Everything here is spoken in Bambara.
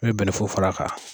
N mɛ bɛnɛfu fara kan